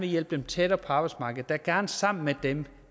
hjælpe dem tættere på arbejdsmarkedet der gerne sammen med dem